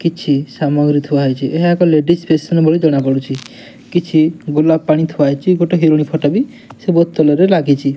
କିଛି ସାମଗ୍ରୀ ଥୁଆହୋଇଚି ଏହା ଏକ ଲେଡିଜି ଫେସନ ଭଳି ଜଣାପଡ଼ୁଚି କିଛି ଗୋଲାପ ପାଣି ଥୁଆହୋଇଛି ଗୋଟେ ହିରୋଇନି ଫଟ ବି ଲାଗିଚି।